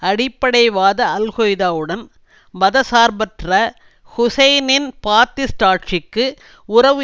அடிப்படைவாத அல்கொய்தாவுடன் மத சார்பற்ற ஹூசைனின் பாத்திஸ்ட் ஆட்சிக்கு உறவு